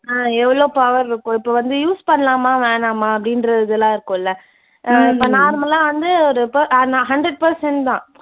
ஆஹ் எவ்ளோ power இருக்கும். இப்ப வந்து use பண்ணலாமா வேணாமா அப்படின்றதெல்லாம் இருக்கும்ல. அஹ் இப்ப normal லா வந்து ஒரு pe அஹ் நான் hundred percent தான்.